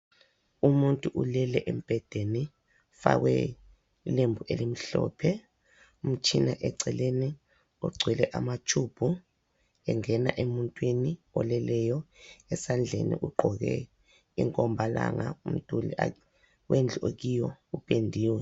Umuntu ulele embhedeni ufakwe ilembu elimhlophe umtshina eceleni ogcwele amatshubhu engena emuntwini oleleyo. Esandleni ugqoke inkombalanga umduli wendlu akuyo upendiwe.